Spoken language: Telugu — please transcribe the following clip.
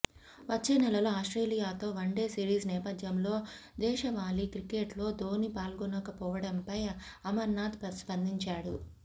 వచ్చేనెలలో ఆస్ట్రేలియాతో వన్డే సిరీస్ నేపథ్యంలో దేశవాళీ క్రికెట్లో ధోని పాల్గొనకపోవడంపై అమర్నాథ్ స్పందించాడు